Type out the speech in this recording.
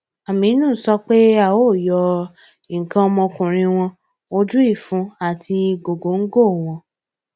àmínú sọ pé a yọ nǹkan ọmọkùnrin wọn ojú ìfun àti gògòńgò wọn